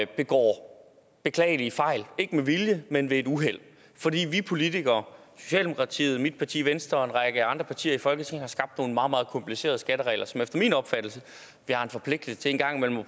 begår beklagelige fejl ikke med vilje men ved et uheld fordi vi politikere socialdemokratiet mit parti venstre og en række andre partier i folketinget har skabt nogle meget meget komplicerede skatteregler som vi efter min opfattelse har en forpligtelse til en gang imellem at